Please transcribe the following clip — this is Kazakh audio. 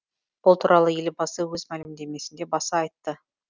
бұл туралы елбасы өз мәлімдемесінде баса айтты